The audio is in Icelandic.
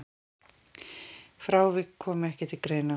Frávik komi ekki til greina.